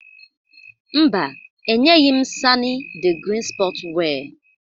Mba, enyeghị m sani the green sport wear.